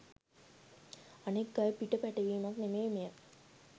අනෙක් අය පිට පැටවීමක් නෙමෙයි මෙය